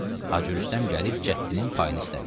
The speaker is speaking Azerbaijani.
Hacı Rüstəm gəlib cəddinin payını istədi.